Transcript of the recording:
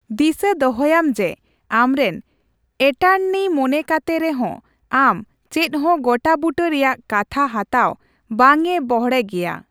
ᱫᱤᱥᱟᱹ ᱫᱚᱦᱚᱭᱟᱢ ᱡᱮ ᱟᱢᱨᱮᱱ ᱮᱴᱟᱨᱱᱤ ᱢᱚᱱᱮ ᱠᱟᱛᱮ ᱨᱮᱦᱚᱸ ᱟᱢ ᱪᱮᱫᱦᱚᱸ ᱜᱚᱴᱟᱵᱩᱴᱟᱹ ᱨᱮᱭᱟᱜ ᱠᱟᱛᱷᱟ ᱦᱟᱛᱟᱣ ᱵᱟᱝᱮ ᱵᱚᱲᱦᱮ ᱜᱮᱭᱟ ᱾